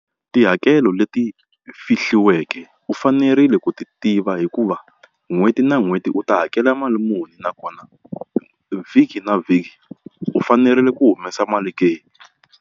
Tihakelo leti fihliweke u fanerile u ti tiva hikuva n'hweti na n'hweti u ta hakela mali muni nakona vhiki na vhiki u fanerile ku humesa mali ke.